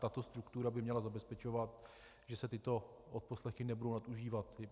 Tato struktura by měla zabezpečovat, že se tyto odposlechy nebudou nadužívat.